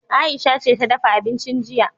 Aisha ce ta dafa abincin jiya.